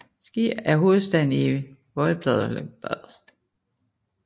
Zgierz er hovedstaden i voivodskabet Łódzkie i Polen